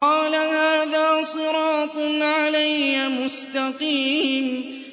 قَالَ هَٰذَا صِرَاطٌ عَلَيَّ مُسْتَقِيمٌ